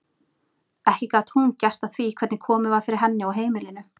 Ekki gat hún gert að því hvernig komið var fyrir henni og heimilinu.